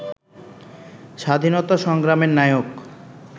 স্বাধীনতা সংগ্রামের নায়ক